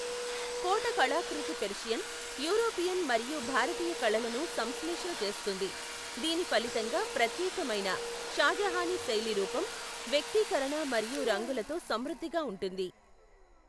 కోట కళాకృతి Persian, European మరియు భారతీయ కళలను సంశ్లేషణ చేస్తుంది, దీని ఫలితంగా ప్రత్యేకమైన షాజహానీ శైలి రూపం, వ్యక్తీకరణ మరియు రంగులతో సమృద్ధిగా ఉంటుంది.